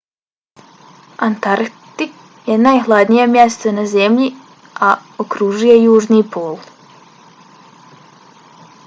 antarktik je najhladnije mjesto na zemlji a okružuje južni pol